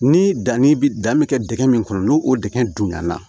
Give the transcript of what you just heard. Ni danni bi dan be kɛ dingɛ min kɔnɔ n'o o dingɛ dun ɲana